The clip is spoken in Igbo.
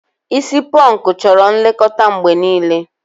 Isi pọnkụ chọrọ nlekọta mgbe niile.